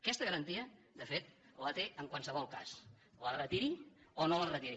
aquesta garantia de fet la té en qualsevol cas la retiri o no la retiri